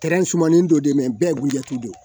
sumanin dɔ de mɛ bɛɛ ye guwɛye don